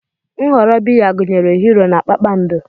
Nhọrọ biya gụnyere Hiiro na Kpakpando.